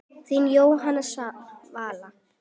Þín Jóhanna Svala.